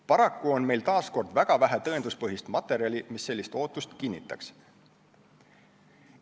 Paraku on meil väga vähe tõenduspõhist materjali, mis sellist ootust kinnitaks.